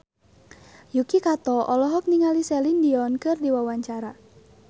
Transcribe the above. Yuki Kato olohok ningali Celine Dion keur diwawancara